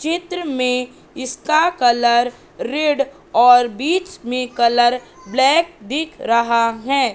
चित्र में इसका कलर रेड और बीच में कलर ब्लैक दिख रहा हैं।